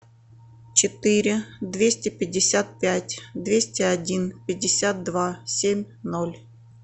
четыре двести пятьдесят пять двести один пятьдесят два семь ноль